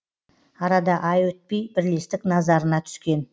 арада ай өтпей бірлестік назарына түскен